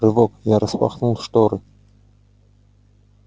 рывок я распахнул шторы